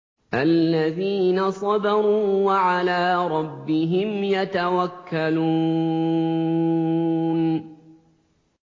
الَّذِينَ صَبَرُوا وَعَلَىٰ رَبِّهِمْ يَتَوَكَّلُونَ